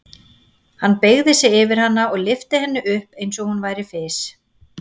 Hann beygði sig yfir hana og lyfti henni upp eins og hún væri fis.